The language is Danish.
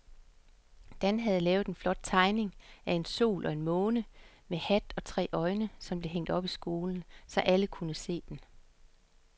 Dan havde lavet en flot tegning af en sol og en måne med hat og tre øjne, som blev hængt op i skolen, så alle kunne se den.